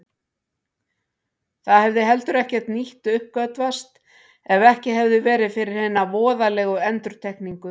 Það hefði heldur ekkert nýtt uppgötvast ef ekki hefði verið fyrir hina voðalegu endurtekningu.